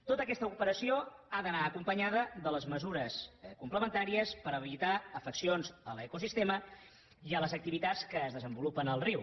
tota aquesta operació ha d’anar acompanyada de les mesures complementàries per evitar afeccions a l’ecosistema i a les activitats que es desenvolupen al riu